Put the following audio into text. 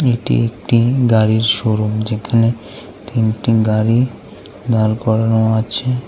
এটি একটি গাড়ির শোরুম যেখানে তিনটি গাড়ি দাঁড় করানো আছে।